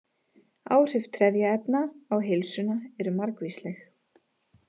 Áhrif trefjaefna á heilsuna eru margvísleg.